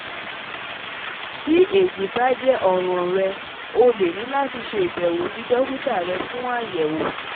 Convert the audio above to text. Ti eyi ba jẹ́ ọ̀ran rẹ, o le ni lati ṣe ibewodokita rẹ fun ayẹ̀wo